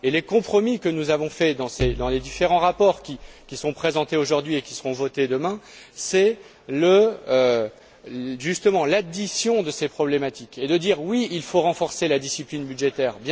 Et les compromis que nous avons faits dans les différents rapports qui sont présentés aujourd'hui et qui seront votés demain sont justement l'addition de ces problématiques, et une manière de dire que oui, il faut renforcer la discipline budgétaire.